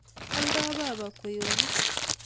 Oldoi baba kweyonik